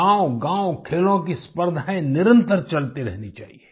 गाँवगाँव खेलों की स्पर्धाएँ निरंतर चलती रहनी चाहिये